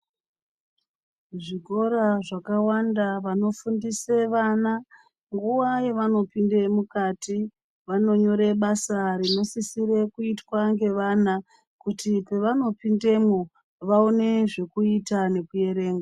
Zvikora zvakawanda vano fundise vana nguva yavano pinde mukati vano nyore basa rino sisire kuitwa ngevana kuti pavano pindemo vaone zvekuita neku erenga.